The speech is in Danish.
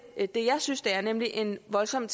det det jeg synes det er nemlig en voldsom